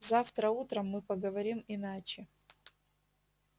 завтра утром мы поговорим иначе